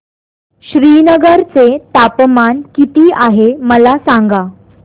श्रीनगर चे तापमान किती आहे मला सांगा